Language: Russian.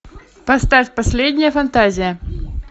поставь последняя фантазия